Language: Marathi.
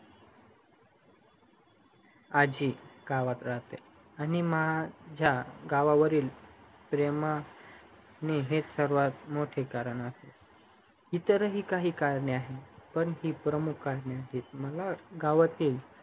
आजी गावात राहते आणि माझ्या गावावरील प्रेम हेच सर्वात मोठी करन असेल इतरही काही करणे आहेत पण ये प्रमुख कारण आहे